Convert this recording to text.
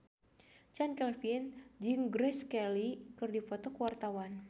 Chand Kelvin jeung Grace Kelly keur dipoto ku wartawan